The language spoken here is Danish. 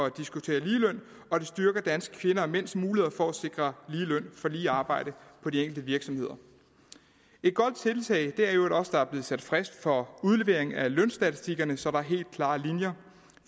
at diskutere ligeløn og det styrker danske kvinder og mænds muligheder for at sikre lige løn for lige arbejde på de enkelte virksomheder et godt tiltag er i øvrigt også at der er blevet sat frist for udlevering af lønstatistikkerne så der er helt klare linjer